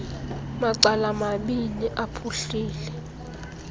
macala mabini aphuhlile